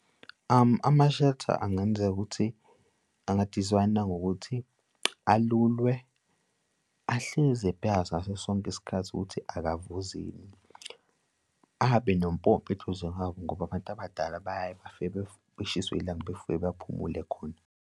Ama-shuttle angenzeka ukuthi angadizayinwa ngokuthi alulwe, ahlezi ebhekwa ngaso sonke isikhathi ukuthi akavuzi yini? Ahambe nompompi eduze kwawo ngoba abantu abadala bayaye bafike beshiswe yilanga befike bephumule khona.